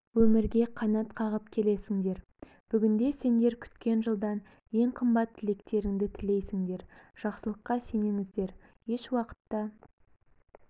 өмірге қанат қағып келесіңдер бүгінде сендер күткен жылдан ең қымбат тілектеріңді тілейсіңдер жақсылыққа сеніңіздер ешуақытта